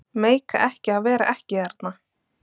Meika ekki að vera ekki þarna.